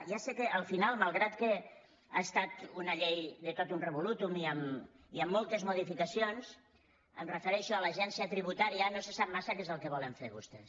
ja sé que al final malgrat que ha estat una llei de totum revolutumons em refereixo a l’agència tributària no se sap massa què és el que volen fer vostès